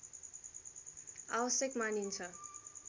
आवश्यक मानिन्छ